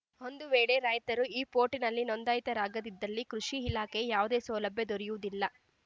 ಒಂದು ವೇಳೆ ರೈತರು ಈ ಪೋರ್ಟಲ್‌ನಲ್ಲಿ ನೋಂದಾಯಿತರಾಗದಿದ್ದಲ್ಲಿ ಕೃಷಿ ಇಲಾಖೆಯ ಯಾವುದೇ ಸೌಲಭ್ಯ ದೊರೆಯುವುದಿಲ್ಲ